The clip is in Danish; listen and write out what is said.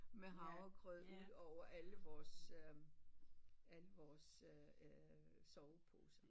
Med havregrød ud over alle vores øhm alle vores øh øh soveposer